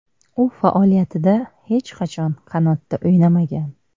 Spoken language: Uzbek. U faoliyatida hech qachon qanotda o‘ynamagan.